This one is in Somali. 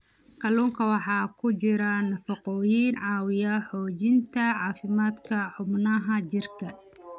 Kalluunka waxaa ku jira nafaqooyin caawiya xoojinta caafimaadka xubnaha jirka.